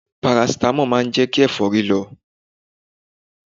Parasitamọ́ọ̀ má ń jẹ́kí ẹ̀fọ́rí lọ.